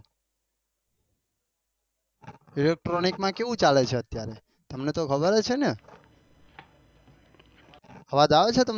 Electronic માં કેવું ચાલે છે અત્યરે તમને તો ખબર જ છે ને આવાજ આવે છે તમને